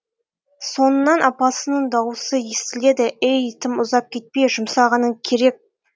соңынан апасының даусы естіледі әй тым ұзап кетпе жұмсағаның керек